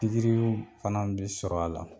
Pikiriw fana bɛ sɔr'a la